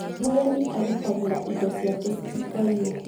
Mũrĩmi agitagĩra indo ciake citikaiywo